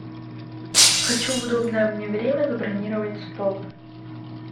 хочу в удобное мне время забронировать стол